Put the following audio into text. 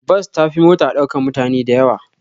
Bas ta fi mota ɗaukan mutane dayawa